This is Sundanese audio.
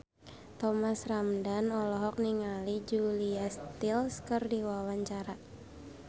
Thomas Ramdhan olohok ningali Julia Stiles keur diwawancara